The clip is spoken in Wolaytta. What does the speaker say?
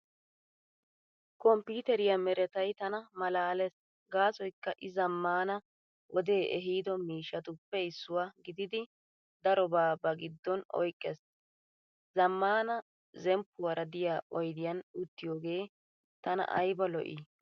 Komppiiteriyaa meretay tana malaalees gaasoykka I zammaana wode ehiido mishshatuppe issuwaa gididi darobaa ba giddon oyqqees. Zammaana zemppuwaara diyaa oydiyan uttiyoogee tana ayba lo'i.